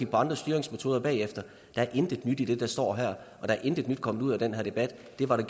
på andre styringsmetoder bagefter der er intet nyt i det der står her og der er intet nyt kommet ud af den her debat det var der